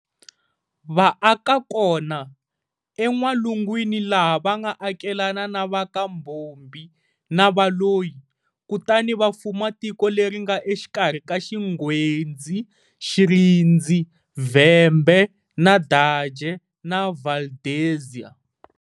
Va aka kona, eN'walungwini laha va nga akelana na va ka Mbhombhi na Valoyi, kutani va fuma tiko leri nga exikarhi ka Xingwedzi, Xirindzi, Vhembe, Nadaje, na Valdezia.